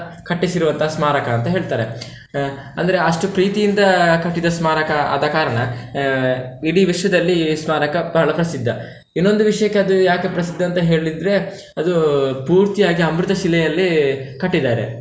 ಕಟ್ಟಿಸಿರುವಂತಹ ಸ್ಮಾರಕ ಅಂತ ಹೇಳ್ತಾರೆ ಆಹ್ ಅಂದ್ರೆ ಅಷ್ಟು ಪ್ರೀತಿಯಿಂದ ಕಟ್ಟಿದ ಸ್ಮಾರಕ ಆದಕಾರಣ ಆಹ್ ಇಡೀ ವಿಶ್ವದಲ್ಲಿ ಈ ಸ್ಮಾರಕ ಬಹಳ ಪ್ರಸಿದ್ಧ, ಇನ್ನೊಂದು ವಿಷಯಕ್ಕೆ ಅದು ಯಾಕೆ ಪ್ರಸಿದ್ಧ ಅಂತ ಹೇಳಿದ್ರೆ ಅದು ಪೂರ್ತಿ ಆಗಿ ಅಮೃತಶಿಲೆಯಲ್ಲಿ ಕಟ್ಟಿದ್ದಾರೆ.